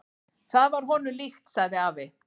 """Það var honum líkt, sagði afi."""